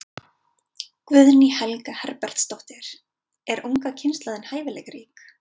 Guðný Helga Herbertsdóttir: Er unga kynslóðin hæfileikarík?